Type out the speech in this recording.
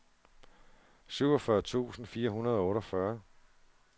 syvogfyrre tusind fire hundrede og otteogfyrre